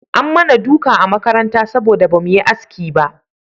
An mana duka a makaranta saboda ba mu yi haski ba